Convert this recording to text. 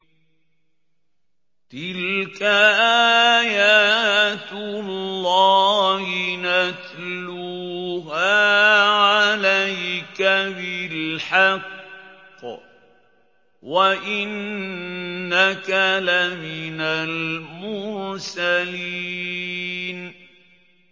تِلْكَ آيَاتُ اللَّهِ نَتْلُوهَا عَلَيْكَ بِالْحَقِّ ۚ وَإِنَّكَ لَمِنَ الْمُرْسَلِينَ